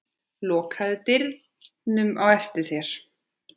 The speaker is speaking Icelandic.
Lokaðu dyrunum á eftir þér.